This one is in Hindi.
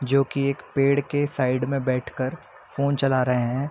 जोकि एक पेड़ के साइड में बैठ कर फ़ोन चला रहें हैं।